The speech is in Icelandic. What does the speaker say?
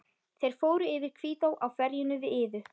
Þeir fóru yfir Hvítá á ferjunni við Iðu.